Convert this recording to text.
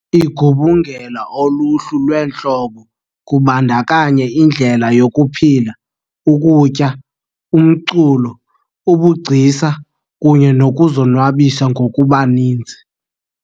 Igubungela uluhlu lweentlobo, kubandakanya indlela yokuphila, ukutya, umculo, ubugcisa kunye nokuzonwabisa ngokubaninzi.